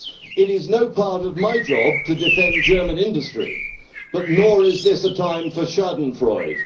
It is no part of my job to defend German industry, but nor is this a time for Schadenfreude